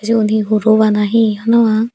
sigun hi huro bana hi honopang.